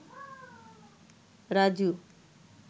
Raju